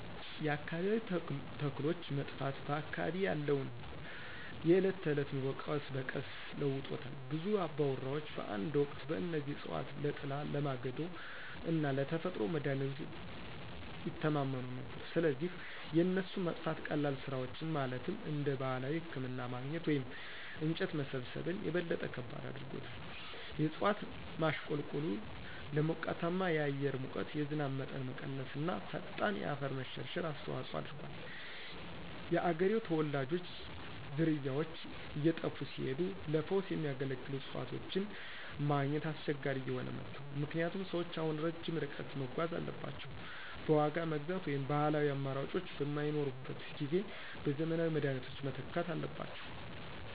የአካባቢያዊ ተክሎች መጥፋት በአካባቢዬ ያለውን የዕለት ተዕለት ኑሮ ቀስ በቀስ ለውጦታል. ብዙ አባወራዎች በአንድ ወቅት በእነዚህ እፅዋት ለጥላ፣ ለማገዶ እና ለተፈጥሮ መድሀኒቶች ይተማመኑ ነበር፣ ስለዚህ የእነሱ መጥፋት ቀላል ስራዎችን ማለትም እንደ ባህላዊ ህክምና ማግኘት ወይም እንጨት መሰብሰብን - የበለጠ ከባድ አድርጎታል። የእጽዋት ማሽቆልቆሉ ለሞቃታማ የአየር ሙቀት፣ የዝናብ መጠን መቀነስ እና ፈጣን የአፈር መሸርሸር አስተዋጽኦ አድርጓል። የአገሬው ተወላጆች ዝርያዎች እየጠፉ ሲሄዱ ለፈውስ የሚያገለግሉ እፅዋትን ማግኘት አስቸጋሪ እየሆነ መጥቷል ምክንያቱም ሰዎች አሁን ረጅም ርቀት መጓዝ አለባቸው፣ በዋጋ መግዛት ወይም ባህላዊው አማራጮች በማይኖሩበት ጊዜ በዘመናዊ መድኃኒቶች መተካት አለባቸው።